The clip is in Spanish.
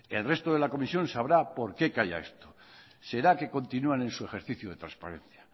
el resto de la comisión sabrá por qué calla esto será que continúan en su ejercicio de transparencia